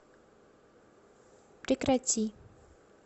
прекрати